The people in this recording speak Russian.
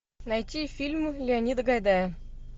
найти фильмы леонида гайдая